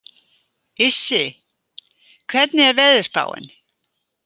Issi, hvernig er veðurspáin?